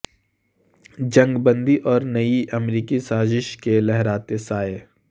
جنگ بندی اور نئی امریکی سازش کے لہراتے سائے